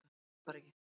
Ég man það bara ekki